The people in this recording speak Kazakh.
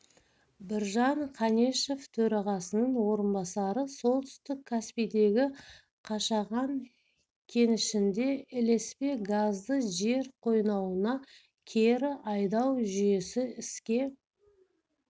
біржан қанешев төрағасының орынбасары солтүстік каспийдегі қашаған кенішінде ілеспе газды жер қойнауына кері айдау жүйесі іске